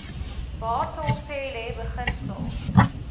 batho pele beginsel